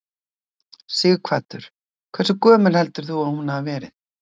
Sighvatur: Hversu gömul heldur þú að hún hafi verið?